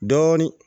Dɔɔnin